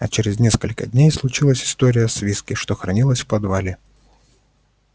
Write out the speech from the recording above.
а через несколько дней случилась история с виски что хранилось в подвале